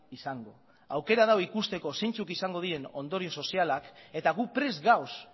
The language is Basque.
izango aukera dago ikusteko zeintzuk izango diren ondorio sozialak eta gu prest gaude